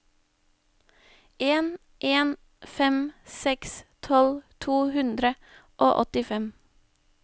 en en fem seks tolv to hundre og åttifem